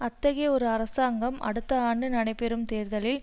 அத்தகைய ஒரு அரசாங்கம் அடுத்த ஆண்டு நடைபெறும் தேர்தலில்